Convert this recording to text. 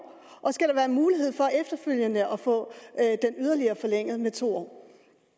og skal der være mulighed for efterfølgende at få den yderligere forlænget med to år